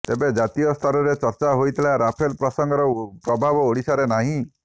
ତେବେ ଜାତୀୟ ସ୍ତରରେ ଚର୍ଚ୍ଚା ହୋଇଥିବା ରାଫେଲ ପ୍ରସଙ୍ଗର ପ୍ରଭାବ ଓଡ଼ିଶାରେ ନାହିଁ